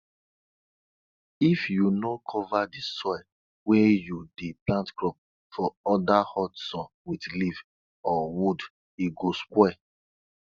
if you no cover di soil weh you dey plant crop for under hot sun with leaf or wood e go spoil